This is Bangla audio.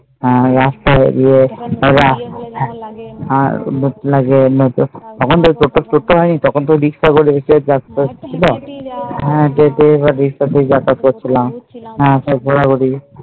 রাস্তায় ইয়ে আর তখন সবাই তোর দিকে তাকিয়ে ছিল তার পরে ঘুরছিলাম